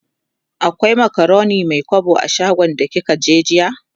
akwai macaroni Mai kwabo a shagon da kika je jiya?